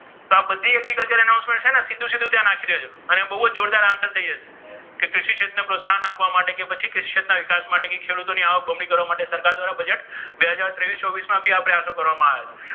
તો આ બધી agriculture announcement છે ને સીધું સીધું ત્યાં નાખી દેજો. એટલે બહુ જ જોરદાર answer થઈ જશે. કે કૃષિ ક્ષેત્રને પ્રોત્સાહન આપવા માટે કે કૃષિ ક્ષેત્રના વિકાસ માટે ખેડૂતોની આવક બમણી કરવા માટે સરકાર દ્વારા બજેટ બે હજાર ત્રેવીસ ચોવીસ માં આ શરૂ કરવામાં આવ્યા છે.